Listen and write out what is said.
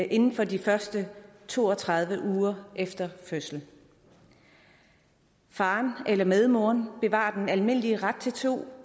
inden for de første to og tredive uger efter fødslen faren eller medmoren bevarer den almindelige ret til to